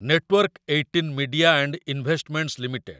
network eighteen media and investments limited